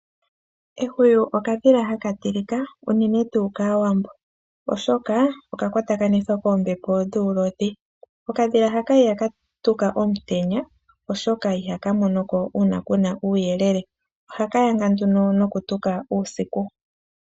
Ehwiyu okadhila hala tilika, unene tuu kaawambo, oshoka okakwatakanithwa koombepo dhuulodhi. Okadhila haka ihaka tuka omutenya, oshoka ihaka monoko uuna kuna uuyelele. Ohaka yanga nduno nokutuka uusiku.